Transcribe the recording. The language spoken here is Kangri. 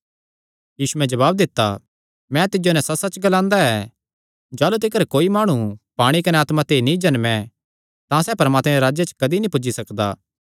यीशुयैं जवाब दित्ता मैं तिज्जो नैं सच्चसच्च ग्लांदा ऐ जाह़लू तिकर कोई माणु पाणी कने आत्मा ते नीं जम्में तां सैह़ परमात्मे दे राज्जे च कदी नीं पुज्जी सकदा